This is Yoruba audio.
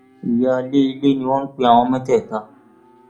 ìyáálé ilé ni wọn pe àwọn mẹtẹẹta